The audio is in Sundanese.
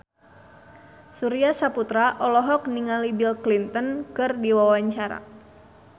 Surya Saputra olohok ningali Bill Clinton keur diwawancara